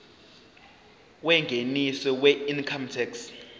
yengeniso weincome tax